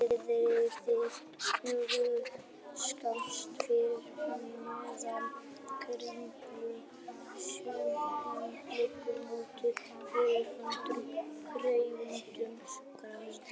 Niðri við túnjaðar, skammt fyrir neðan Kringlu sést enn glöggt móta fyrir fornum ferhyrndum garði.